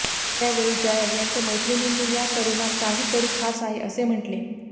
त्यावेळी जया यांच्या मैत्रिणींनी या तरुणात काहीतरी खास आहे असे म्हटले